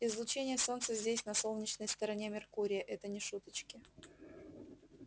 излучение солнца здесь на солнечной стороне меркурия это не шуточки